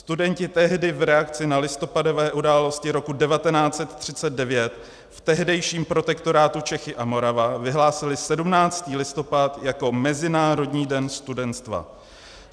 Studenti tehdy v reakci na listopadové události roku 1939 v tehdejším protektorátu Čechy a Morava vyhlásili 17. listopad jako Mezinárodní den studenstva.